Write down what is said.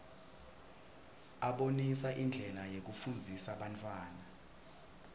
abonisa indlela yekufundzisa bantfwana